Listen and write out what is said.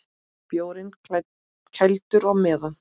Bjórinn kældur á meðan.